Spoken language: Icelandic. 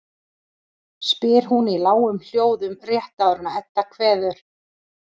spyr hún í lágum hljóðum rétt áður en Edda kveður.